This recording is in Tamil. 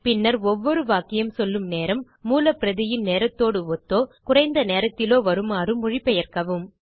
பின்னர் ஒவ்வொரு வாக்கியம் சொல்லும் நேரம் மூலப் பிரதியின் நேரத்தோடு ஒத்தோ குறைந்த நேரத்திலோ வருமாறு மொழிபெயர்க்கவும்